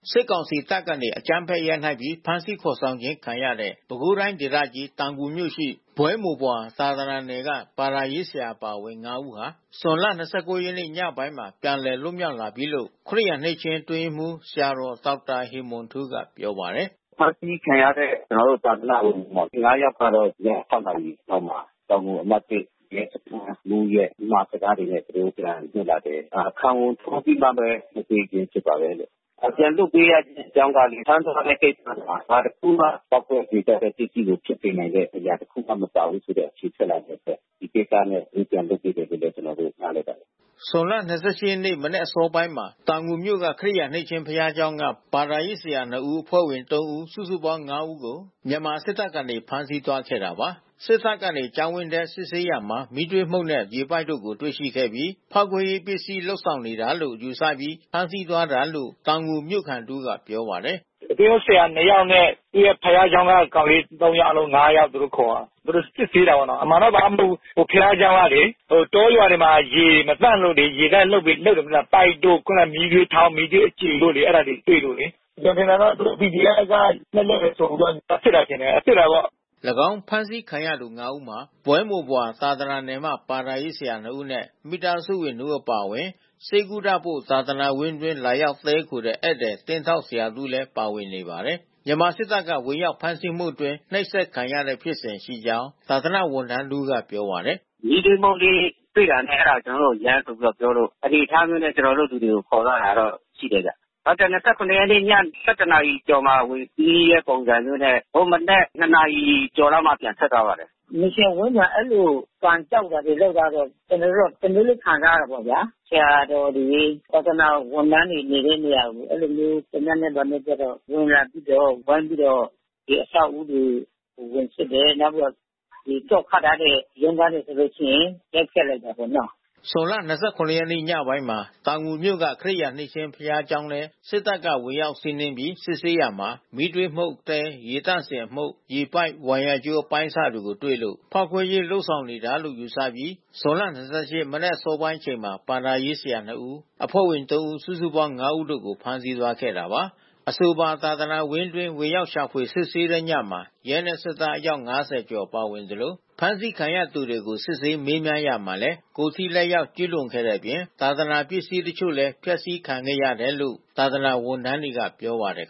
စစ်ကောင်စီတပ်ကနေ အကြမ်းဖက်ရိုက်နှက်ပြီး ဖမ်းဆီးခေါ်ဆောင်ခြင်းခံရတဲ့ ပဲခူးတိုင်းဒေသကြီး၊ တောင်ငူမြို့ရှိ ဘွဲမိုဘွာသာသနာနယ်မှ ဘာသာရေးဆရာအပါအဝင် (၅)ဦးဟာ ဇွန်(၂၉)ရက်ညပိုင်းမှာ ပြန်လည်လွတ်မြောက် လာပြီလို့ ခရစ်ယာန်နှစ်ခြင်းအတွင်းရေးမှူး ဆရာတော် ဒေါက်တာ ဟေမွန်ထူး ကပြောပါတယ်။ "ဖမ်းဆီးခံရတဲ့ကျွန်တော်တို့သာသနာ့ဝန်ထမ်း(၅)ယောက်ကတော့ ည(၆)နာရီလောက်မှာ တောင်ငူအမှတ်(၁) ရဲစ ခန်း မှူး ရဲ့ အမှာစကားတွေနဲ့ သူတို့ပြန်လွတ်လာတယ်။ ခံဝန်ထားပြီးမှဘဲ လွှတ်ပေးခြင်းဖြစ်ပါတယ်လို့။ ပြန်လွှတ် ပေးရတဲ့ အကြောင်းက ဖမ်းသွားတဲ့ကိစ္စမှာ ဘာတခုမှ ပေါက်ကွဲစေတတ်တဲ့ပစ္စည်းတွေဖြစ်စေနိုင်တဲ့အရာ ဘာတခုမှ မပါဘူးဆို တဲ့ အဖြေထွက်လာတယ်ပေါ့။ ဒီကိစ္စနဲ့သူတို့ပြန်လွှတ်ပေးတာလို့လဲ ကျွန်တော်တို့ နားလည်ပါတယ်။" ဇွန်လ (၂၈)ရက်နေ့ မနက်အစောပိုင်းမှာ တောင်ငူမြို့က ခရစ်ယာန်နှစ်ခြင်းဘုရားကျောင်းက ဘာသာရေး ဆရာ (၂)ဦး အဖွဲ့ဝင်(၃)ဦးစုစုပေါင်း(၅)ဦးကို မြန်မာစစ်တပ်ကနေဖမ်းဆီးသွားခဲ့တာပါ။ စစ်တပ်ကနေ ကျောင်းဝင်းထဲ စစ်ဆေးရာမှာ မီးသွေးမှုန့်နဲ့ ရေပိုက်တို့ကို တွေ့ရှိခဲ့ပြီး ဖောက်ခွဲရေးပစ္စည်း လုပ်ဆောင်နေတာလို့ ယူဆပြီးဖမ်းဆီးသွားတာလို့ တောင်ငူမြို့ခံတဦးကပြောပါတယ်။ "သင်းအုပ်ဆရာ(၂)ယောက်နဲ့ သူ့ရဲ့ဘုရားကျောင်းက ကောင်လေး(၃)ယောက် အားလုံး(၅)ယောက် သူတို့ခေါ် သွားတယ်။ သူတို့စစ်ဆေးတာပေါ့နော်။ အမှန်တော့ဘာမှမဟုတ်ဘူး။ ဘုရားကျောင်းကလေ တောရွာတွေမှာ ရေမသန့်လို့ လေ ရေသန့်လုပ်တယ်မဟုတ်လား။ ပိုက်တို့ မီးသွေးထောင်း၊ မီးသွေးအကြွေ အဲတာတွေတွေ့ လို့လေ။ ကျွန်တော် ထင်တာက PDFက လက်လုပ်တယ်ဆိုပြီးတော့ သွားစစ်တာထင်တယ်။ စစ်တာပေါ့။" ၎င်းဖမ်းဆီးခံရသူ ၅ ဦးမှာ ဘွဲမိုဘွာ သာသနာနယ်မှ ဘာသာရေး ဆရာ ၂ ဦးနဲ့ မိသားစုဝင်၂ ဦးအပါအဝင် ဆေးကုဖို့ သာသနာဝင်းအတွင်း လာရောက်တည်းခိုတဲ့ ဧည့်သည် သင်းထောက်တစ်ဦးလည်း ပါဝင်နေပါတယ်။ မြန်မာစစ်တပ်က ဝင်ရောက် ဖမ်းဆီးမှုအတွင်း နှိပ်စက်ခံရတဲ့ဖြစ်စဉ်ရှိကြောင်း သာသနာဝန်ထမ်းတဦးက ပြောပါတယ်။ "မီးသွေးမှုန့်လေးတွေ့တာနဲ့အဲတာ ကျွန်တော်တို့ကို ယမ်းဆိုပြီးတော့ပြောလို့ အနေအထားမျိုးနဲ့ ကျွန်တော်တို့လူ တွေကို ခေါ်သွားတာတော့ရှိတယ်ဗျ။ (၂၇)ရက်နေ့ည(၁၁)နာရီကျော်မှာဝင်စီးတဲ့ပုံစံမျိုးနဲ့ ဟို မနက် (၂)နာရီကျော် လောက်မှ ပြန်ထွက်သွားပါတယ်။ မစ်ရှင်ဝန်းကျင်မှာ အဲဒီလို ကန်ကျောက်တာတွေလုပ်တာတွေ ကျွန်တော်တို့ တမျိုးခံစားရတာပေါ့ဗျာ။ ဆရာတော်တွေ၊ သာသနာဝန်ထမ်းတွေနေတဲ့နေရာကို အဲဒီလို သေနတ်နဲ့ ဘာနဲ့ကျတော့ ဝင်လာပြီးတော့ ဝိုင်းပြီးတော့ ဒီအဆောက်အဦးတွေ ဝင်စစ်တယ်။ နောက်ပြီးတော့ သော့ခတ်ထားတဲ့ ရုံးခန်းတွေ ဆိုလို့ရှိရင် ရိုက်ဖျက်လိုက်တာပေါ့နော်။" ဇွန်လ (၂၇)ရက်နေ့ ညပိုင်းမှာ တောင်ငူမြို့က ခရစ်ယာန်နှစ်ခြင်းဘုရားကျောင်းထဲ စစ်တပ်က ဝင်ရောက်စီးနင်းပြီး စစ်ဆေးရာမှာ မီးသွေးမှုန့်၊ သဲ ရေသန့်စင်တဲ့အမှုန့်၊ ရေပိုက်၊ ဝိုင်ယာကြိုးအပိုင်းစတွေတွေ့လို့ ဖောက်ခွဲရေး လုပ် ဆောင်တာလို့ ယူဆပြီး ဇွန်လ (၂၈)မနက်အစောပိုင်းအချိန်မှာ ဘာသာရေးဆရာ(၂)ဦး အဖွဲ့ဝင်(၃)ဦးစုစုပေါင်း (၅) ဦး ကို ဖမ်းဆီးသွားခဲ့တာပါ။ အဆိုပါ သာသာနာဝင်းအတွင်း ဝင်ရောက်ရှာဖွေစစ်ဆေးတဲ့ညမှာ ရဲနှင့်စစ်သား အယောက် ၅၀ ကျော်ပါဝင်သလို ဖမ်းဆီးခံရသူတွေကို စစ်ဆေးမေးမြန်းရာမှာလည်း ကိုယ်ထိလက်ရောက် ကျူးလွန်ခဲ့တဲ့အပြင် သာသနာပစ္စည်း အချို့လည်း ဖျက်ဆီးခံခဲ့ရတယ်လို့ သာသနာဝန်ထမ်းတွေကပြောပါတယ်